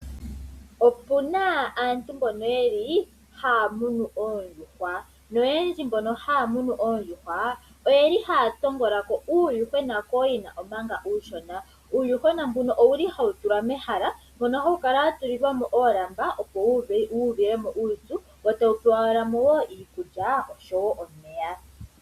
Opuna aantu mboka ha ya munu oondjuhwa, uuna oondjuhwa dha tendula oha ya kuthako uuyuhwena mpanga uushona. Oha wu tulwa metala muna olamba opo wu uve omuyene ee ta wu tulilwa ko omeya niikulya.